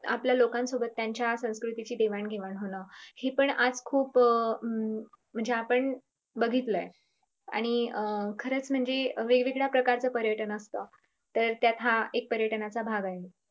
आपल्या लोकांसोबत त्यांच्या संकृतीची देवाण घेवाण होणं हे पण आज खूप अं म्हणजे आपण बघितलय आणि अं खरच म्हणजे वेगवेगळ्या प्रकारचं पर्यटन असत त्यात हा एक पर्यटनाचा भाग आहे.